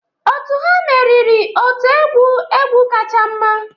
Otu ha meriri otu egwu egwu kacha mma